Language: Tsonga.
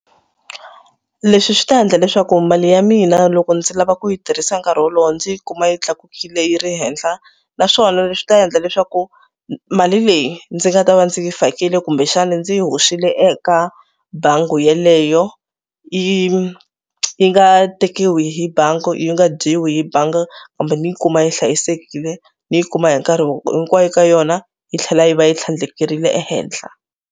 Leswi swi ta endla leswaku mali ya mina loko ndzi lava ku yi tirhisa nkarhi wolowo ndzi yi kuma yi tlakukile yi ri henhla naswona leswi ta endla leswaku mali leyi ndzi nga ta va ndzi fakile kumbexana ndzi yi hoxile eka bangi yeleyo yi yi nga tekiwi hi bangi, yi nga dyiwi hi bangi kumbe ni yi kuma yi hlayisekile ni yi kuma hi nkarhi hinkwayo ka yona yi tlhela yi va yi tlhandlekerile ehenhla.